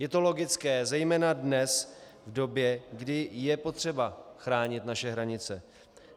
Je to logické zejména dnes, v době, kdy je potřeba chránit naše hranice.